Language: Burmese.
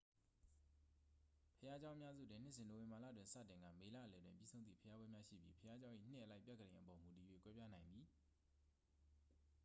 ဘုရားကျောင်း အများစုတွင် နှစ်စဉ် နိုဝင်ဘာလတွင် စတင်ကာ မေလအလယ်တွင် ပြီးဆုံးသည့် ဘုရားပွဲများ ရှိပြီး ဘုရားကျောင်း၏ နှစ်အလိုက် ပြက္ခဒိန်အပေါ် မူတည်၍ ကွဲပြားနိုင်သည်